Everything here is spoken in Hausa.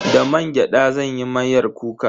Da mangyada zan yi miyar kuka.